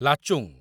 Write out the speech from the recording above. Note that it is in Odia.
ଲାଚୁଂ